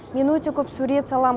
мен өте көп сурет салам